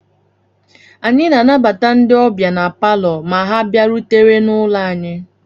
Anyị na-anabata ndị ọbịa na Palọ ma ha bịarutere n'ụlọ anyị